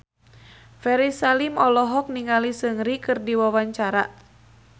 Ferry Salim olohok ningali Seungri keur diwawancara